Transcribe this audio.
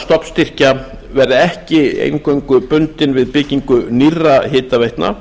stofnstyrkja verði ekki eingöngu bundin við byggingu nýrra hitaveitna